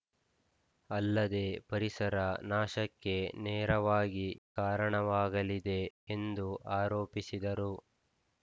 ಅಲ್ಲದೆ ಪರಿಸರ ನಾಶಕ್ಕೆ ನೇರವಾಗಿ ಕಾರಣವಾಗಲಿದೆ ಎಂದು ಆರೋಪಿಸಿದರು